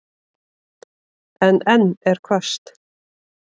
En enn er hvasst.